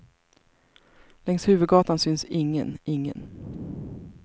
Längs huvudgatan syns ingen, ingen.